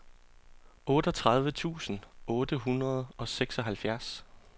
otteogtredive tusind otte hundrede og seksoghalvfjerds